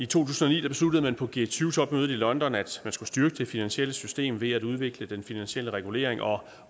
tusind og ni besluttede man på g tyve topmødet i london at man skulle styrke det finansielle system ved at udvikle den finansielle regulering og